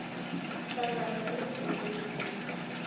hlangana nezinye izinto